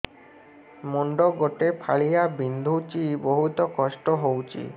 ମୁଣ୍ଡ ଗୋଟେ ଫାଳିଆ ବିନ୍ଧୁଚି ବହୁତ କଷ୍ଟ ହଉଚି